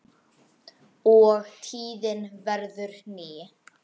og tíðin verður ný